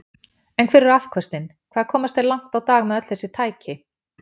En hver eru afköstin, hvað komast þeir langt á dag með öll þessi tæki?